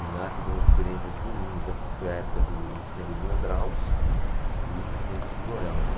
E lá tivemos experiências ruins, porque foi a época do incêndio do Andraus e o incêndio do Joelma.